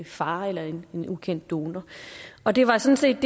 far eller en ukendt donor og det var sådan set